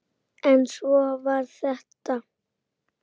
Stjáni kinkaði kolli.